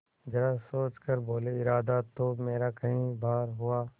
जरा सोच कर बोलेइरादा तो मेरा कई बार हुआ